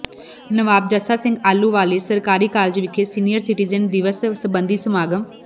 ਨਵਾਬ ਜੱਸਾ ਸਿੰਘ ਆਹਲੂਵਾਲੀਆ ਸਰਕਾਰੀ ਕਾਲਜ ਵਿਖੇ senior citizen ਦਿਵਸ ਸਬੰਧੀ ਸਮਾਗਮ